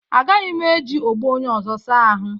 Agaghị m eji ogbo onye ọzọ saa ahụ